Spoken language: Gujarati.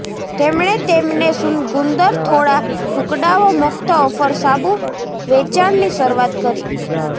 તેમણે તેમને ગુંદર થોડા ટુકડાઓ મુક્ત ઓફર સાબુ વેચાણની શરૂઆત કરી